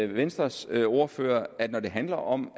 venstres ordfører at når det handler om